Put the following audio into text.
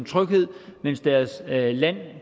tryghed mens deres land